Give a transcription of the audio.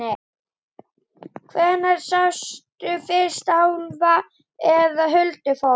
Hvenær sástu fyrst álfa eða huldufólk?